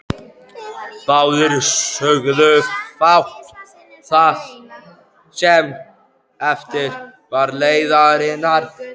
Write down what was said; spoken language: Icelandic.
Báðir sögðu fátt það sem eftir var leiðarinnar.